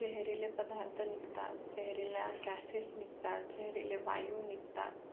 जहिरीले पदार्थ निघतात, जहरीले GAS निघतात, जाहिरीले वायु निघतात